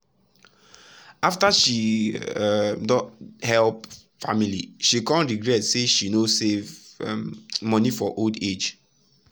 after she um don help family she come regret say she no save um monie for her old age.